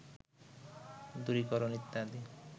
দূরীকরণ ইত্যাদি